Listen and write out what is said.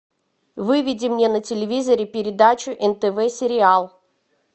выведи мне на телевизоре передачу нтв сериал